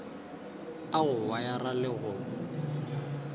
a go wayara le go